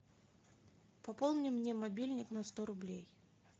пополни мне мобильник на сто рублей